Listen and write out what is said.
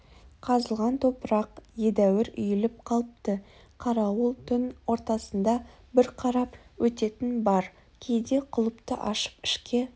қазылған топырақ едәуір үйіліп қалыпты қарауыл түн ортасында бір қарап өтетіні бар кейде құлыпты ашып ішке